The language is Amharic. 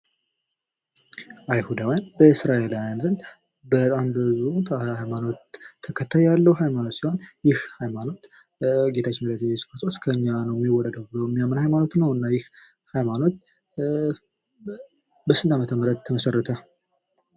አይሁዳውያን በእስራኤላውያን ዘንድ በጣም በብዙ ሃይማኖት ተከታይ ያለው ሃይማኖት ሲሆን ይህ ሃይማኖት በጌታችን በእየሱስ ክርስቶስ ከእኛ ነው የሚወለደው ብሎ የሚያምን ሃይማኖት ነው። እና ይህ ሃይማኖት በስንት አመተምህረት ተመሰረተ?